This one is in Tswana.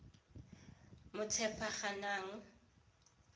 motshepagang